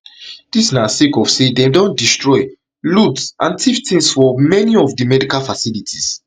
dis na sake of say dem don destroy loot and tiff tins for many of di medical facilities